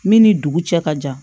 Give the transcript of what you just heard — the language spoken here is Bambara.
Min ni dugu cɛ ka jan